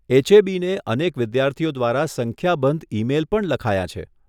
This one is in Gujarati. એચએબીને અનેક વિદ્યાર્થીઓ દ્વારા સંખ્યાબંધ ઇ મેલ પણ લખાયાં છે.